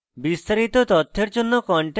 বিস্তারিত তথ্যের জন্য